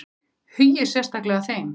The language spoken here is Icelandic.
Hugið sérstaklega að þeim.